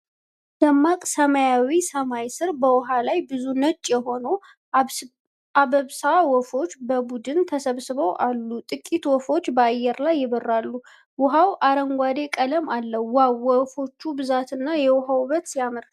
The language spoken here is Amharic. ደማቅ ሰማያዊ ሰማይ ስር በውሃ ላይ ብዙ ነጭ የሆኑ አባብሳ ወፎች በቡድን ተሰብስበው አሉ ። ጥቂት ወፎች በአየር ላይ ይበራሉ። ውኃው አረንጓዴ ቀለም አለው። "ዋው! የወፎቹ ብዛትና የውሃው ውበት ሲያምር!"